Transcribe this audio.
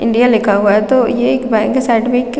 India लिखा हुआ है तो ये एक बैंक के साइड मे एक--